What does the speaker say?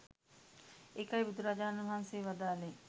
ඒකයි බුදුරජාණන් වහන්සේ වදාළේ